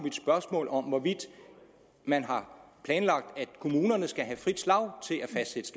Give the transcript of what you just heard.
mit spørgsmål om hvorvidt man har planlagt at kommunerne skal have frit slag til